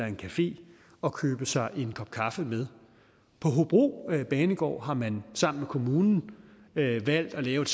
en café og købe sig en kop kaffe med på hobro banegård har man sammen med kommunen valgt at lave